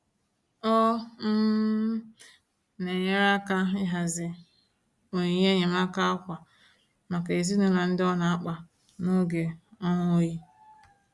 Ọ um na-enyere aka ịhazi onyinye enyemaaka ákwà maka ezinụlọ ndị nọ na mkpa n'oge ọnwa oyi.